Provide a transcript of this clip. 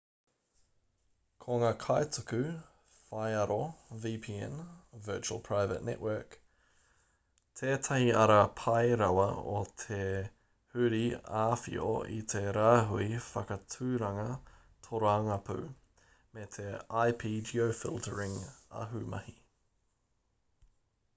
ko ngā kaituku whaiaro vpn virtual private network tētahi ara pai rawa o te huri āwhio i te rāhui whakaaturanga tōrangapū me te ip-geofiltering ahumahi